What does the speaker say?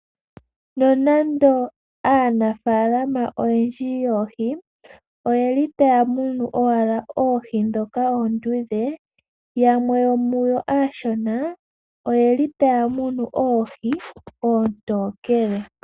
No nande aanafalama oyendji yoohi oyeli owala taamunu oohi ndhoka oondudhe, yamwe yomuyo aashona oyeli taamunu oohi oontokele.